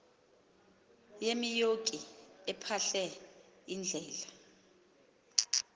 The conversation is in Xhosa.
yemioki ephahle iindlela